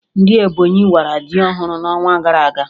Ndị Ebonyi wara ji ọhụrụ n'ọnwa gara aga